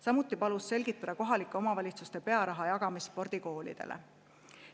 Samuti palus ta selgitada kohalike omavalitsuste pearaha jagamist spordikoolidele.